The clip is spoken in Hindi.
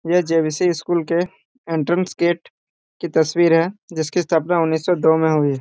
मैया जर्विसेस स्कूल के एंट्रेंस गेट की तस्वीर है जिसकी स्थापना उन्नीस दो मे हुई में।